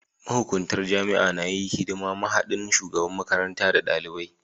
Mahukuntar jami'a na yi hidiman mahaɗin shugaban makaranta da dalibai.